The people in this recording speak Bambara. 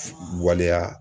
Waleya.